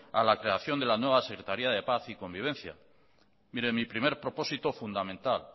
a la creación de la nueva secretaría de paz y convivencia mi primer propósito fundamental